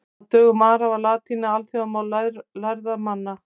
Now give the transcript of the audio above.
Á dögum Ara var latína alþjóðamál lærðra manna.